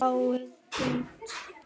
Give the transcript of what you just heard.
Spaði út.